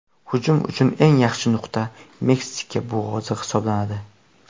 Hujum uchun eng yaxshi nuqta Meksika bo‘g‘ozi hisoblanadi.